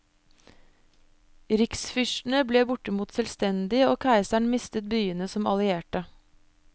Riksfyrstene ble bortimot selvstendige, og keiseren mistet byene som allierte.